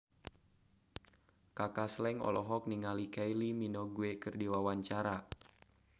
Kaka Slank olohok ningali Kylie Minogue keur diwawancara